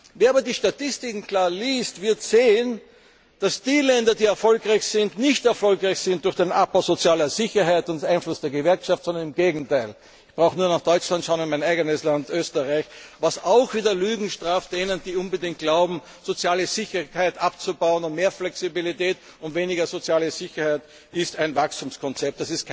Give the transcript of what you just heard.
Wer aber die Statistiken klar liest, wird sehen, dass die Länder, die erfolgreich sind, nicht erfolgreich sind durch den Abbau von sozialer Sicherheit und Einfluss der Gewerkschaften, sondern im Gegenteil. Man braucht nur nach Deutschland schauen und in mein eigenes Land, Österreich, was auch wieder die Lügen straft, die glauben, soziale Sicherheit unbedingt abbauen zu müssen, und mehr Flexibilität und weniger soziale Sicherheit sei ein Wachstumskonzept.